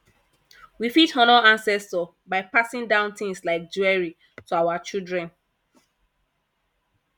we fit honour ancestor by passing down things like jewelry to our children